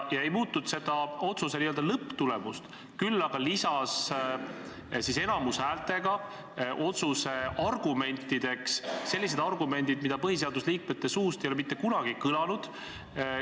Ta ei muutnud küll otsuse n-ö lõpptulemust, aga lisas enamushäältega tehtud otsuse argumentide hulka sellised väited, mida põhiseaduskomisjoni liikmete suust ei ole mitte kunagi kõlanud.